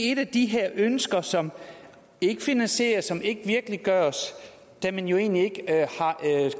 et af de her ønsker som ikke finansieres som ikke virkeliggøres da man jo egentlig ikke er